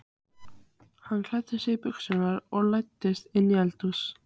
Hann klæddi sig í buxur og læddist inn í eldhúsið.